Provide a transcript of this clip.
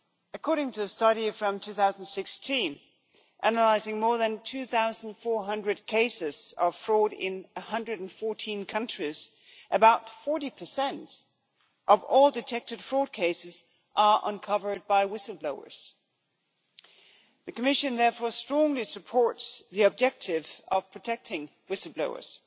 According to a study from 2016 analysing more than 2400 cases of fraud in 114 countries, about 40 of all detected fraud cases are uncovered by whistle blowers. The Commission therefore strongly supports the objective of protecting whistle blowers